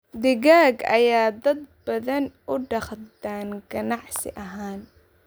Digaag ayaa dad badan u dhaqdaan ganacsi ahaan.